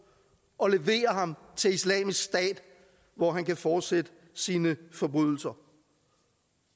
og de leverer ham til islamisk stat hvor han kan fortsætte sine forbrydelser